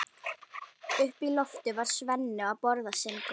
Uppi á lofti var Svenni að borða sinn graut.